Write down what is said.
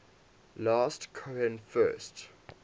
last cohen first